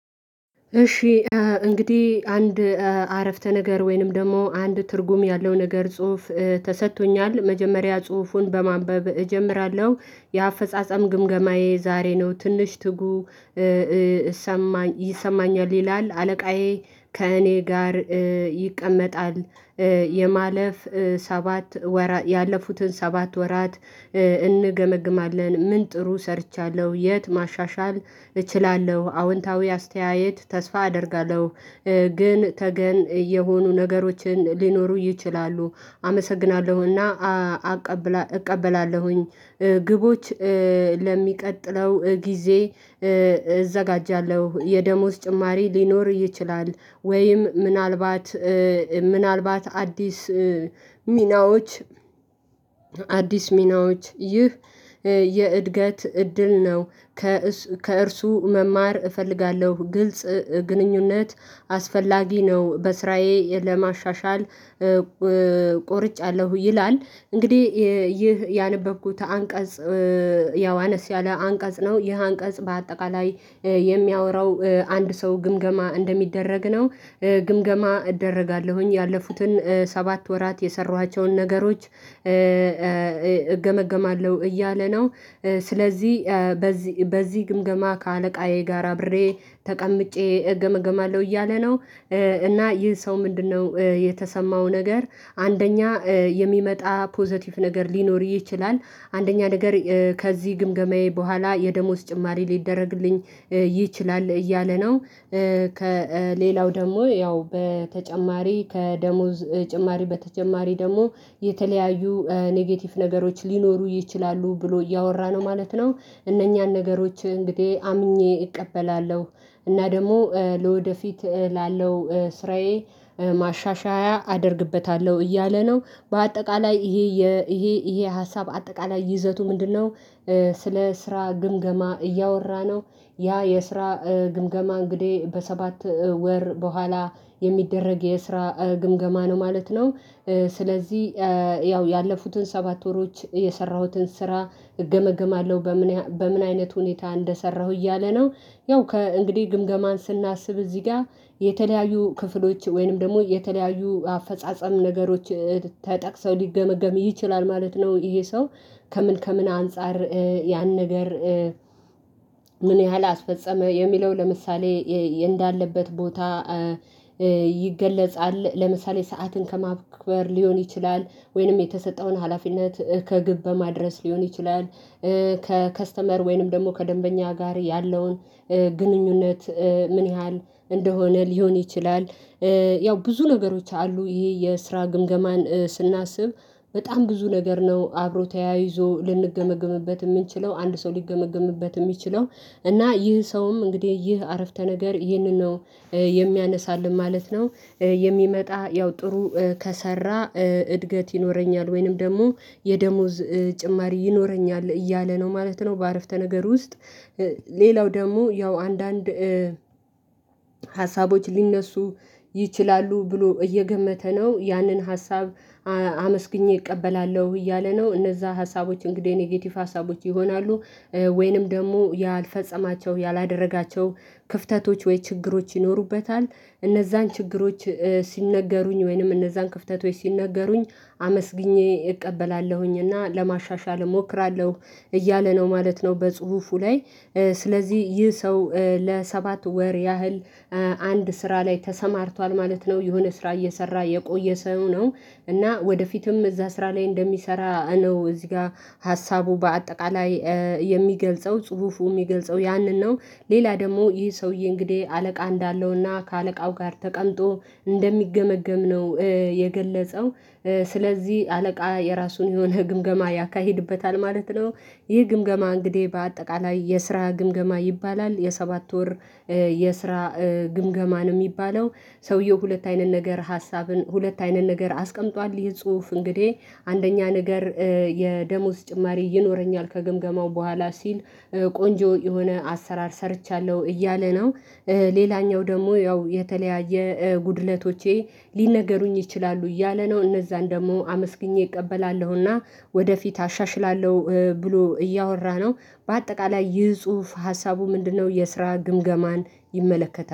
እሺ እንግዲህ አንድ አረፍተ ነገር ወይንም ደግሞ አንድ ትርጉም ያለው ነገር ጽሁፍ ተሰጥቶኛል መጀመሪያ ጽሁፉን በማንበብ እጀምራለሁ የአፈጻጸም ግምገማዬ ዛሬ ነው ትንሽ ትጉ ይሰማኛል ይላል አለቃዬ ከእኔ ጋር ይቀመጣል የማለፍ ሰባት ወራት ያለፉትን ሰባት ወራት እንገመግማለን ምን ጥሩ ሰርቻለሁ የት ማሻሻል እችላለሁ አዎንታዊ አስተያየት ተስፋ አደርጋለሁ። ግን ተገን የሆኑ ነገሮችን ሊኖሩ ይችላሉ አመሰግናለሁና አቃብ እቀበላለሁኝ ግቦች ለሚቀጥለው ጊዜ እዘጋጃለሁ የደሞዝ ጭማሪ ሊኖር ይችላል ወይም ምናልባት ምናልባት አዲስ ሚናዎች አዲስ ሚናዎች ይህ የእድገት እድል ነው ከእሱ ከእርሱ መማር እፈልጋለሁ ግልጽ ግንኙነት አስፈላጊ ነው በስራዬ ለማሻሻል ቆርጫለሁ ይላል። እንግዲህ ይህ ያነበብኩት አንቀጽ ያወ አነስ ያለ አንቀጽ ነው ይህ አንቀጽ በአጠቃላይ የሚያወራው አንድ ሰው ግምገማ እንደሚደረግ ነው ግምገማ እደረጋለሁኝ ያለፉትን ሰባት ወራት የሰራኋቸውን ነገሮች እገመግማለሁ እያለ ነው። ስለዚህ በዚህ በዚህ ግምገማ ከአለቃዬ ጋር አብሬ ተቀምጬ እገመገማለሁ እያለ ነው። እና ይህ ሰው ምንድነው የተሰማው ነገር አንደኛ የሚመጣ ፖዘቲቭ ነገር ሊኖር ይችላል አንደኛ ነገር ከዚህ ግምገማዬ በኋላ የደሞዝ ጭማሪ ሊደረግልኝ ይችላል እያለ ነው። ከሌላው ደግሞ ያው በተጨማሪ ከደሞዝ ጭማሪ በተጨማሪ ደግሞ የተለያዩ ኔጌቲቭ ነገሮች ሊኖሩ ይችላሉ ብሎ እያወራ ነው ማለት ነው። እነኛን ነገሮች እንግዲህ አምኜ እቀበላለሁ እና ደግሞ ለወደፊት ላለው ስራዬ ማሻሻያ አደርግበታለሁ እያለ ነው። በአጠቃላይ ይሄ ይሄ ይሄ ሀሳብ አጠቃላይ ይዘቱ ምንድነው ስለ ስራ ግምገማ እያወራ ነው። ያ የስራ ግምገማ እንግዲህ በሰባት ወር በኋላ የሚደረግ የስራ ግምገማ ነው ማለት ነው። ስለዚህ ያው ያለፉትን ሰባት ወሮች የሰራሁትን ስራ እገመግማለሁ በምን በምን አይነት ሁኔታ እንደሰራሁ እያለ ነው። ያው ከእንግዲህ ግምገማን ስናስብ እዚህ ጋር የተለያዩ ክፍሎች ወይንም ደግሞ የተለያዩ አፈጻጸም ነገሮች ተጠቅሰው ሊገመገም ይችላል ማለት ነው። ይሄ ሰው ከምን ከምን አንፃር ያን ነገር ምን ያህል አስፈጸመ የሚለው ለምሳሌ እንዳለበት ቦታ ይገለጻል ለምሳሌ ሰዓትን ከማክበር ሊሆን ይችላል። ወይንም የተሰጠውን ሀላፊነት ከግብ በማድረስ ሊሆን ይችላል ከከስተመር ወይንም ደግሞ ከደንበኛ ጋር ያለውን ግንኙነት ምን ያህል እንደሆነ ሊሆን ይችላል። ያው ብዙ ነገሮች አሉ ይሄ የስራ ግምገማን ስናስብ በጣም ብዙ ነገር ነው አብሮ ተያይዞ ልንገመገምበት የምንችለው አንድ ሰው ሊገመገምበት የሚችለው እና ይህ ሰውም እንግዲህ ይህ አረፍተ ነገር ይህንን ነው የሚያነሳልን ማለት ነው። የሚመጣ ያው ጥሩ ከሰራ እድገት ይኖረኛል ወይንም ደግሞ የደሞዝ ጭማሪ ይኖረኛል እያለ ነው ማለት ነው። በአረፍተ ነገሩ ውስጥ ሌላው ደግሞ ያው አንዳንድ ሀሳቦች ሊነሱ ይችላሉ ብሎ እየገመተ ነው ያንን ሀሳብ አመስግኜ እቀበላለሁ እያለ ነው። እነዛ ሀሳቦች እንግዲህ ኔጌቲቭ ሀሳቦች ይሆናሉ ወይንም ደግሞ ያልፈጸማቸው ያላደረጋቸው ክፍተቶች ወይ ችግሮች ይኖሩበታል እነዛን ችግሮች ሲነገሩኝ ወይንም እነዛን ክፍተት ሲነገሩኝ አመስግኜ እቀበላለሁኝ እና ለማሻሻል እሞክራለሁ እያለ ነው ማለት ነው። በጽሁፉ ላይ ስለዚህ ይህ ሰው ለሰባት ወር ያህል አንድ ስራ ላይ ተሰማርቷል ማለት ነው የሆነ ስራ እየሰራ የቆየ ሰው ነው። እና ወደፊትም እዛ ስራ ላይ እንደሚሰራ ነው እዚህ ጋር ሀሳቡ በአጠቃላይ የሚገልጸው ጽሁፉ የሚገልጸው ያንን ነው። ሌላ ደግሞ ይህ ሰውዬ እንግዲህ አለቃ እንዳለውና ከአለቃው ጋር ተቀምጦ እንደሚገመገም ነው የገለጸው። ስለዚህ አለቃ የራሱን የሆነ ግምገማ ያካሂድበታል ማለት ነው። ይህ ግምገማ እንግዲህ በአጠቃላይ የስራ ግምገማ ይባላል የሰባት ወር የስራ ግምገማ ነው የሚባለው። ሰውየው ሁለት አይነት ነገር ሀሳብን ሁለት አይነት ነገር አስቀምጧል ይሄ ጽሁፍ እንግዲህ አንደኛ ነገር የደሞዝ ጭማሪ ይኖረኛል ከግምገማው በኋላ ሲል ቆንጆ የሆነ አሰራር ሰርቻለሁ እያለ ነው። ሌላኛው ደግሞ ያው የተለያየ ጉድለቶቼ ሊነገሩኝ ይችላሉ እያለ ነው እነዛን ደግሞ አመስግኜ እቀበላለሁና ወደፊት አሻሽላለሁ ብሎ እያወራ ነው። በአጠቃላይ ይህ ጽሁፍ ሀሳቡ ምንድነው? የስራ ግምገማን ይመለከታል